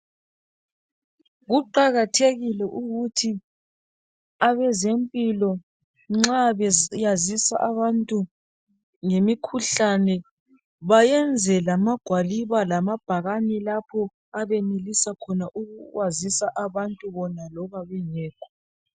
Kuqakathekile ukuthi abezempilo nxa beyazisa abantu ngemikhuhlane bayenze lamagwaliba lamabhakane lapho abenelisa khona ukwazisa abantu khona bona loba bengekho.